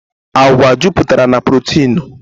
Àgwà juputere na prọteenú